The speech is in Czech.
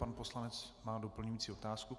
Pan poslanec má doplňující otázku.